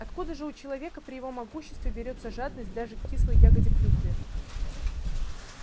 откуда же у человека при его могуществе берётся жадность даже к кислой ягоде клюкве